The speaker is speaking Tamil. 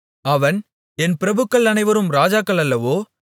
அவன் என் பிரபுக்கள் அனைவரும் ராஜாக்களல்லவோ